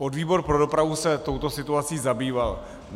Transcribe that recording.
Podvýbor pro dopravu se touto situací zabýval.